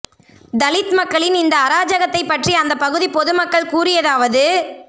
தலித் மக்களின் இந்த அராஜகத்தை பற்றி அந்த பகுதி பொது மக்கள் கூறியதாவது